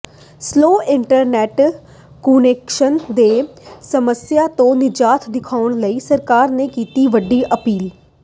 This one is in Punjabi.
ਸਲੋਅ ਇੰਟਰਨੈੱਟ ਕੁਨੈਕਸ਼ਨ ਦੀ ਸਮੱਸਿਆ ਤੋਂ ਨਿਜਾਤ ਦਿਵਾਉਣ ਲਈ ਸਰਕਾਰ ਨੇ ਕੀਤੀ ਵੱਡੀ ਪਹਿਲ